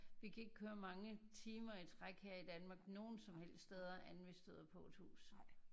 Vi kan ikke køre mange timer i træk her i Danmark nogen som helst steder inden vi støder på et hus